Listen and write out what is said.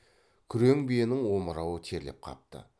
күрең биенің омырауы терлеп қапты